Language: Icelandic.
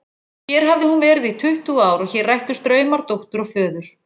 Hér hafði hún verið í tuttugu ár og hér rættust draumar dóttur og föður.